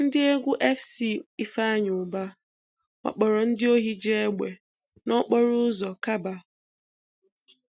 Ndị egwu FC Ifeanyi Uba wakporo ndị ohi ji egbe n'okporo ụzọ Kabba.